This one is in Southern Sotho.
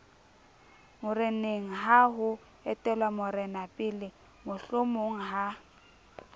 morenengha ho etellwa morenapele mohlomongha